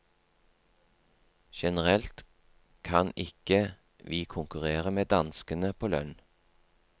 Generelt kan ikke vi konkurrere med danskene på lønn.